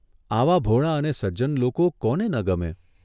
આવાં ભોળાં અને સજ્જન લોકો કોને ન ગમે?